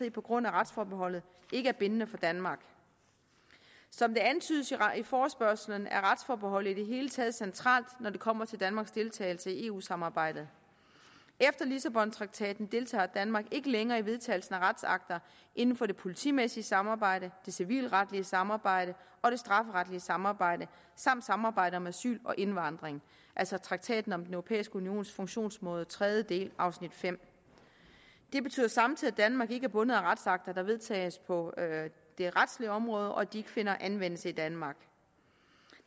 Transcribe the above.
i på grund af retsforbeholdet ikke er bindende for danmark som det antydes i forespørgslen er retsforbeholdet i det hele taget centralt når det kommer til danmarks deltagelse i eu samarbejdet efter lissabontraktaten deltager danmark ikke længere i vedtagelsen af retsakter inden for det politimæssige samarbejde det civilretlige samarbejde og det strafferetlige samarbejde samt samarbejdet om asyl og indvandring altså traktaten om den europæiske unions funktionsmåde tredje del afsnit fem det betyder samtidig at danmark ikke er bundet af retsakter der vedtages på det retslige område og at de ikke finder anvendelse i danmark